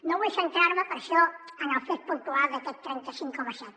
no vull centrar me per això en el fet puntual d’aquest trenta cinc coma set